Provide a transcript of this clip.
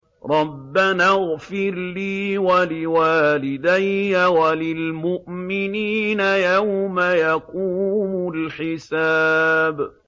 رَبَّنَا اغْفِرْ لِي وَلِوَالِدَيَّ وَلِلْمُؤْمِنِينَ يَوْمَ يَقُومُ الْحِسَابُ